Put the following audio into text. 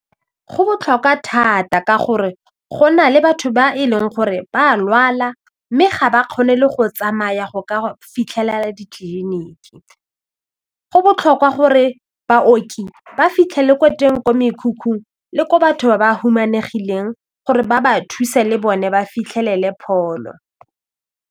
Go botlhokwa thata ka gore go na le batho ba e leng gore ba lwala mme ga ba kgone le go tsamaya go ka fitlhelela di-clinic go botlhokwa gore baoki ba fitlhele ko teng ko mekhukhung le ko batho ba ba humanegileng gore ba ba thuse le bone ba fitlhelele pholo.